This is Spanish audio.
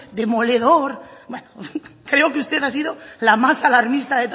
demoledor bueno creo que usted ha sido la más alarmista